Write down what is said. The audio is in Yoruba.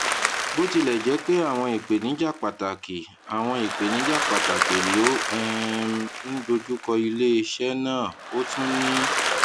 bó tilè jé pé àwọn ìpèníjà pàtàkì àwọn ìpèníjà pàtàkì ló um ń dojú kọ iléeṣé náà ó tún ní